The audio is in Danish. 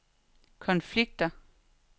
konflikter